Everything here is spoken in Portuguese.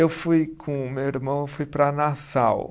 Eu fui com meu irmão, eu fui para Nassau.